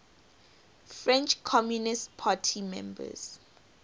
french communist party members